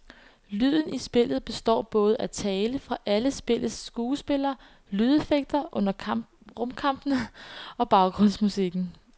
Lyden i spillet består både af tale fra alle spillets skuespillere, lydeffekter under rumkampene og baggrundsmusikken.